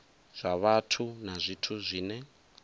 zwa vhathu na zwithu zwine